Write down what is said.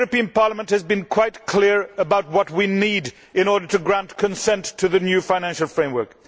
Parliament has been quite clear about what we need in order to grant consent to the new financial framework.